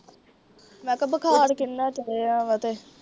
ਮੈ ਕਿਹਾ ਬੁਖਾਰ ਕਿੰਨਾ ਚੜਿਆ ਵਾ ਤੇ।